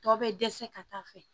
Tɔ bɛ dɛsɛ ka taa fɛ